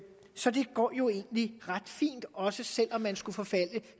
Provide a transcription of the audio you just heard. så det går jo egentlig ret fint også selv om man skulle forfalde